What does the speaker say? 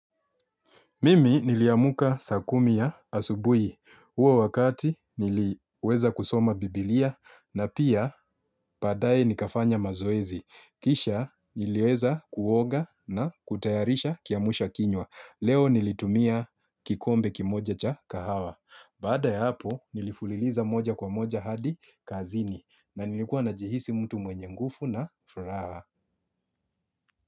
Mimi niliamuka saa kumi ya asubui. Uo wakati niliweza kusoma biblia na pia padaye nikafanya mazoezi. Kisha niliweza kuoga na kutayarisha kiamusha kinywa. Leo nilitumia kikombe kimoja cha kahawa. Baada ya hapo nilifuliliza moja kwa moja hadi kazini. Na nilikuwa najihisi mtu mwenye ngufu na furaha.